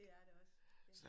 Det er det også ja